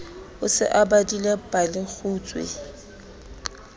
o se o badile palekgutshwe